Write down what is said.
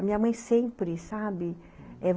A minha mãe sempre, sabe?